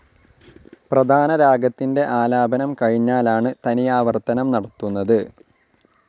പ്രധാന രാഗത്തിൻ്റെ ആലാപനം കഴിഞ്ഞാലാണ് തനിയാവർത്തനം നടത്തുന്നത്.